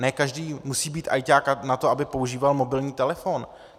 Ne každý musí být ajťák na to, aby používal mobilní telefon.